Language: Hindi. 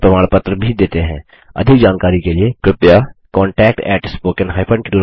उनको प्रमाण पत्र भी देते हैं जो ऑनलाइन टेस्ट पास करते हैं